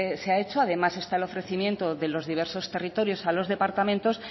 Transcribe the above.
se ha hecho además está en ofrecimiento de los diversos territorios a los departamentos